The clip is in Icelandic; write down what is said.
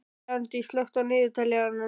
Bjarndís, slökktu á niðurteljaranum.